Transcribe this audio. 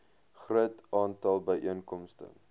groot aantal byeenkomste